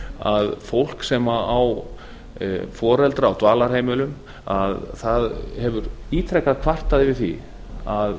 að fólk sem á foreldra á dvalarheimilum hefur ítrekað kvartað fyrir því að